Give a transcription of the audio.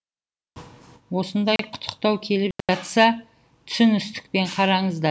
осындай құттықтау келіп жатса түсіністікпен қараңыздар